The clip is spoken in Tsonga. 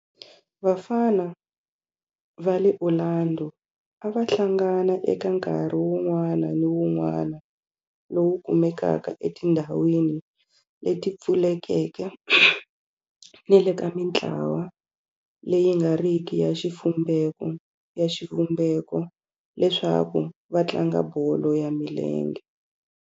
Vafana va le Orlando a va hlangana eka nkarhi wun'wana ni wun'wana lowu kumekaka etindhawini leti pfulekeke ni le ka mintlawa leyi nga riki ya xivumbeko leswaku va tlanga bolo ya milenge.